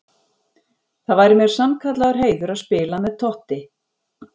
Það væri mér sannkallaður heiður að spila með Totti.